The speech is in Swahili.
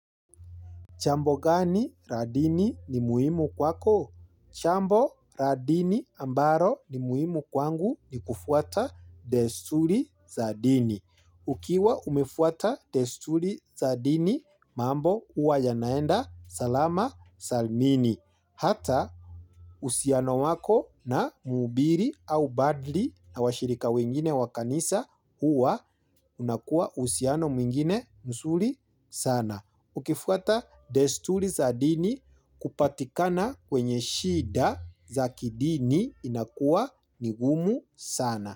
Chambo gani ra dini ni muhimu kwako? Chambo ra dini ambaro ni muhimu kwangu ni kufuata destuli za dini. Ukiwa umefuata destuli za dini mambo uwa yanaenda salama salmini. Hata usiano wako na muhubiri au badli na washirika wengine wa kanisa huwa unakua uhusiano mwingine msuri sana. Ukifuata destuli za dini kupatikana kwenye shida za kidini inakua ni gumu sana.